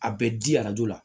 A bɛ di arajo la